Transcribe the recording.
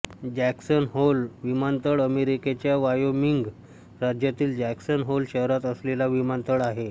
Jackson Hole विमानतळ अमेरिकेच्या Wyoming राज्यातील जॅक्सन होल शहरात असलेला विमानतळ आहे